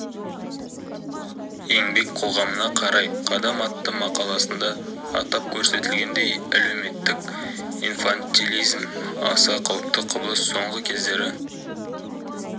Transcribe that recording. еңбек қоғамына қарай қадам атты мақаласында атап көрсетілгендей әлеуметтік инфантилизм аса қауіпті құбылыс соңғы кездері